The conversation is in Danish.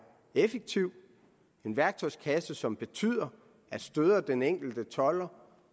effektiv en værktøjskasse som betyder at støder den enkelte tolder